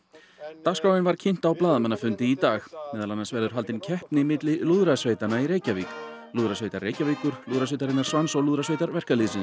dagskráin var kynnt á blaðamannafundi í dag meðal annars verður haldin keppni milli lúðrasveitanna í Reykjavík lúðrasveitar Reykjavíkur lúðrasveitarinnar Svans og lúðrasveitar verkalýðsins